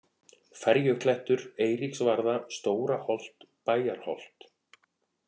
Ferjuklettur, Eiríksvarða, Stóraholt, Bæjarholt